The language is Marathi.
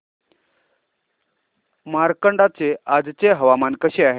मार्कंडा चे आजचे हवामान कसे आहे